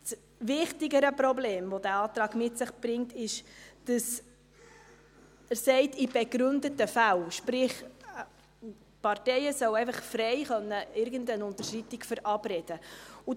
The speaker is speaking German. Das wichtigere Problem, welches dieser Antrag mit sich bringt, ist, dass er sagt, «in begründeten Fällen», sprich, die Parteien sollen einfach frei irgendeine Unterschreitung verabreden können.